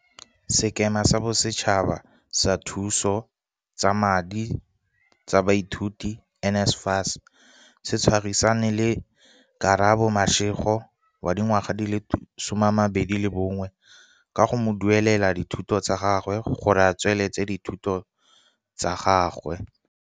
Sekema sa Bosetšhaba sa Thuso tsa Madi tsa Baithuti, NSFAS, se tshwarisane le Karabo Mashego, 21, ka go mo duelelela dithuto tsa gagwe gore a tsweletse dithuto tsa gagwe.